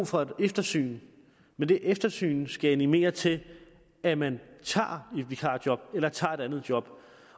for et eftersyn men det eftersyn skal animere til at man tager et vikarjob eller tager et andet job